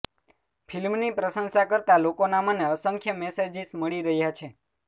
ફિલ્મની પ્રશંસા કરતાં લોકોના મને અસંખ્ય મેસેજિસ મળી રહ્યા છે